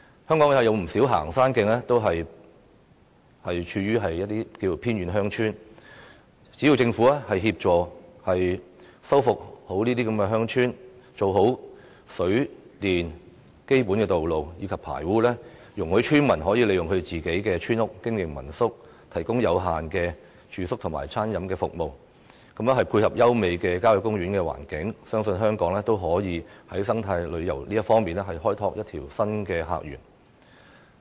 香港有不少行山徑亦處於偏遠鄉村，只要政府協助修復，做好水、電、基本道路及排污，容許村民利用村屋經營民宿，提供有限的住宿及餐飲服務，配合優美的郊野公園環境，相信香港也可以在生態旅遊方面開拓新的客源。